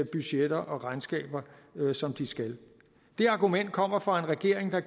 budgetter og regnskaber som de skal det argument kommer fra en regering og